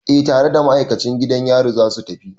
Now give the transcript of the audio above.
Eh tare da ma'aikacin gidan yari za su tafi.